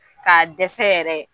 K'a dɛsɛ yɛrɛ